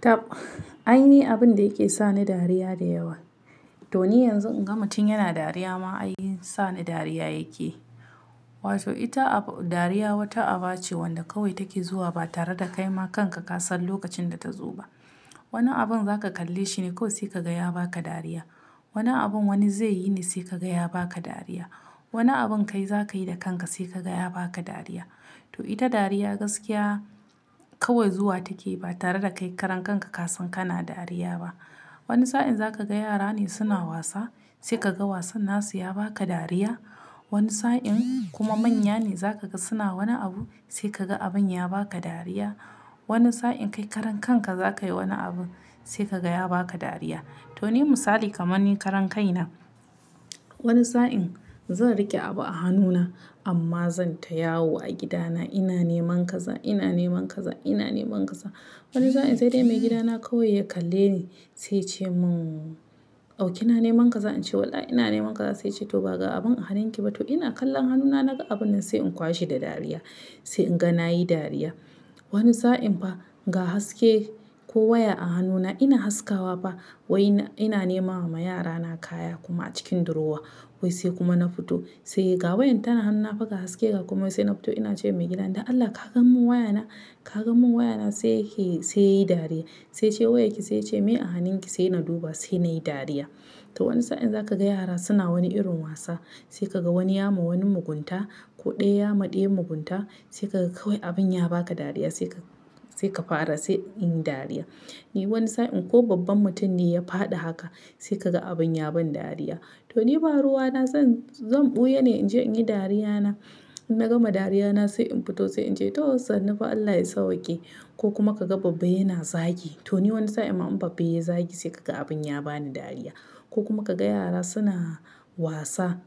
Tab, aini abin da yake sa ni dariya da yawa. To ni yanzu in ga mutum yana dariya ma, ai sa ni dariya yake. Wato ita dariya wata aba ce wanda kawai take zuwa ba tare da kaima kanka kasan lokacin da ta zo ba. Wani abin za ka kalle shi ne kawai sai ka ga ya ba ka dariya. Wani abin wani zai yi ne sai ka ga ya ba ka dariya. Wani abin kai za ka yi da kanka sai ka ga ya ba ka dariya. To ita dariya gaskiya kawai zuwa take ba tare da kai karan kanka kasan kana dariya ba. Wani sa'in za ka ga yara ne suna wasa sai ka ga wasan nasu ya ba ka dariya. Wani sa'in kuma manya ne za ka ga suna wani abu sai ka ga abin ya ba ka dariya. Wani sa'in kai karan kanka za ka yi wani abu sai ka ga ya ba ka dariya. To ni misali kamar ni karan kai na, wani sa'in zan rike abu a hannuna amma zan ta yawo a gidana. Ina neman kaza, ina neman kaza, ina neman kaza. Wani sa'in sai dai maigidana kawai ya kalle ni sai ce mun "Au kina neman kaza?" In ce "Wallah ina neman kaza." Sai ce "to ba ga abun a hanunki ba." To ina kallon hannuna naga abun nan sai in kwashe da dariya sai in ga na yi dariya. Wani sa'in fa ga haske ko waya a hannuna ina haskawa fa wai ina nemawa yara na kaya kuma a cikin durowa wai sai kuma na fito. Sai ga wayan tana hannuna fa ga haske ga komai wai sai na fito ina cewa maigida "Dan Allah ka gan mun waya na, ka gan mun waya na sai yake-- sai ya yi dariya." Sai yace "Wayarki?" Sai yace "Mai a hanunki?" Sai na duba sai na yi dariya. To wani sa'in za ka ga yara suna wani irin wasa sai ka ga wani ya ma wani mugunta ko ɗaya ya ma ɗaya mugunta sai ka ga kawai abin ya ba ka dariya sai ka, sai ka fara sai in yi dariya. Ni wani sa'in ko babban mutum ne ya faɗi haka sai ka ga abin ya ban dariya. To ni ba ruwa na zan, zan ɓuya ne in je in yi dariya na. In na gama dariya na sai in fito sai in ce "to sannu fa Allah ya sawwaƙe." Ko kuma ka ga babba yana zagi. To ni wani sa'in ma in babba ya zagi sai ka ga abin ya bani dariya. Ko kuma ka ga yara suna wasa,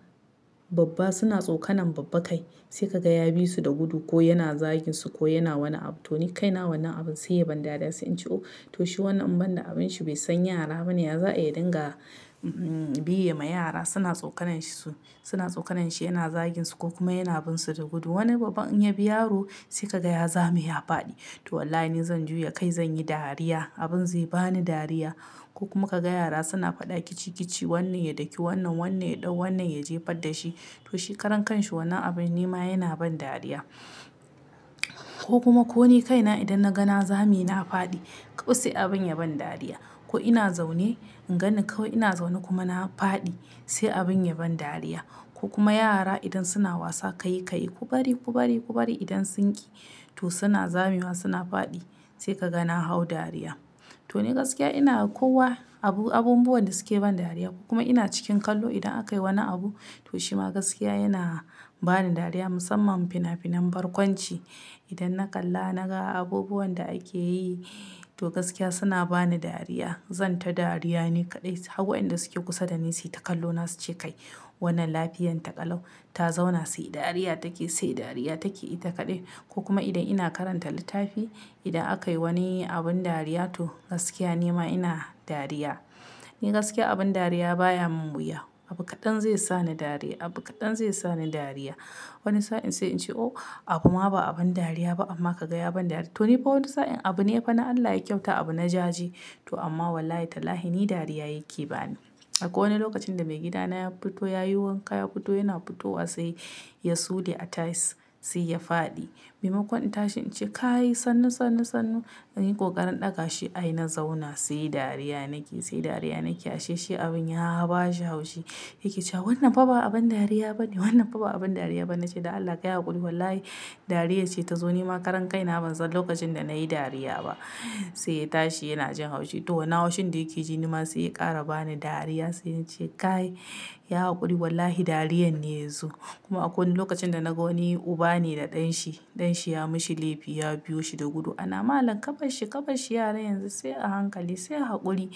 babba suna tsokanan babbaka ai sai ka ga ya bi su da gudu ko yana zagin su ko yana wani abu. To ni kai na wannan abin sai ya ban dariya sai in ce "Oho, to shi wannan in banda abin shi bai san yara bane. Ya za'a yi ya dinga, umm, biye ma yara suna tsokananshi su, suna tsokananshi yana zagin su ko kuma yana bin su da gudu." Wani babban in ya bi yaro sai ka ga ya zame ya faɗi. To wallahi ni zan juya kai zan yi dariya abin zai bani dariya. Ko kuma ka ga yara suna faɗa kici kici wannan ya daki wannan, wannan ya ɗau, wannan ya jefar da shi. To shi karan kan shi wannan abin ni ma yana ban dariya. Ko kuma ko ni kai na idan na ga na zame na faɗi, kawai sai abin ya ban dariya. Ko ina zaune, in gani kawai ina zaune kuma na faɗi sai abin ya ban dariya. Ko kuma yara idan suna wasa kai kai ku bari, ku bari, ku bari idan sun ƙi. To suna zamewa suna faɗi sai ka ga na hau dariya. To ni gaskiya ina kowa abu, abubuwan da suke ban dariya ko kuma ina cikin kallo idan aka yi wani abu to shima gaskiya yana bani dariya musamman fina finan barkwanci. Idan na kalla naga abubuwan da ake yi to gaskiya suna bani dariya. Zan ta dariya ne kaɗai. Har wa'in da suke kusa da ni sui ta kallo na su ce "Kai wannan lafiyan ta kalau ta zauna sai dariya take, sai dariya take ita kaɗai." Ko kuma idan ina karanta littafi, idan aka yi wani abin dariya to gaskiya ni ma ina dariya. Ni gaskiya abin dariya baya mun wuya. Abu kaɗan zai sa ni dariya, abu kaɗan zai sa ni dariya. Wani sa'in sai in ce "Oh abu ma ba abin dariya ba amma ka ga ya ban dariya." To ni fa wani sa'in abu ne fa na Allah ya kyauta abu na jaje to amma wallahi tallahi ni dariya yake bani. Akwai wani lokacin da maigidana ya fito ya yi wanka ya fito yana fitowa sai ya sule a tayas sai ya faɗi. Maimakon in tashi in ce "Kai sannu, sannu, sannu." inyi ƙoƙarin ɗaga shi ai na zauna sai dariya nake, sai dariya nake. A she shi abin ya ba shi haushi yake cewa "Wannan fa ba abin dariya bane, wannan fa ba abin dariya bane." Na ce "Da Allah ka yi haƙuri wallahi dariyar ce ta zo ni ma karan kai na ban san lokacin da na yi dariya ba." Sai ya tashi yana jin haushi. To wannan haushin da yake ji ni ma sai ya ƙara bani dariya sai na ce "Kai, yi haƙuri wallahi dariyar ne yanzu." Kuma akwai wani lokacin da na ga wani uba ne da ɗan shi. Ɗan shi ya mishi laifi ya biyo shi da gudu ana malam "Ƙabar shi, ƙarɓa shi yaran yanzu sai a hankali sai haƙuri,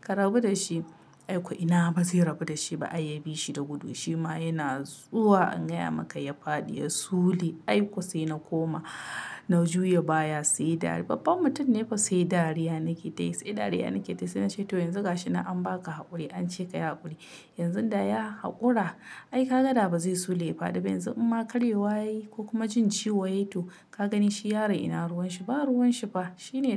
ka rabu da shi." Ai ko ina ba zai rabu da shi ba ai ya bi shi da gudu shi ma yana zuwa in gaya maka ya faɗi ya sule ai ƙo sai na koma na juya baya sai dariya-- babban mutum ne fa sai dariya nake tayi, sai dariya nake tayi. Sai na ce "to yanzu ga shi nan an ba ka haƙuri an ce ka yi haƙuri. Yanzu da ya haƙura ai ka ga da ba zai sule ya faɗi ba yanzu in ma karyewa yayi ko kuma jin ciwo yayi to ka gani shi yaro ina ruwan shi, ba ruwan shi ba, shi ne"